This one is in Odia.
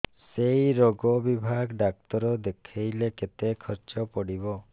ସେଇ ରୋଗ ବିଭାଗ ଡ଼ାକ୍ତର ଦେଖେଇଲେ କେତେ ଖର୍ଚ୍ଚ ପଡିବ